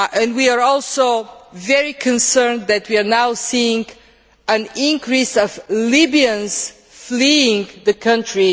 We are also very concerned that we are now seeing an increase of Libyans fleeing the country.